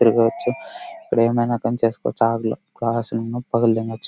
తిరగొచ్చు. ఇక్కడ ఏమైనా పని చేసుకోవచ్చు.